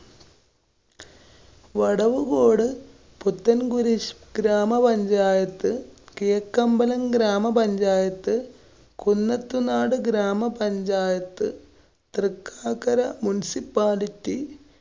വടവുകോട് പുത്തന്‍കുരിശ് ഗ്രാമപഞ്ചായത്ത്, കിഴക്കമ്പലം ഗ്രാമപഞ്ചായത്ത്, കുന്നത്ത് നാട് ഗ്രാമപഞ്ചായത്ത്‌, തൃക്കാക്കര municipality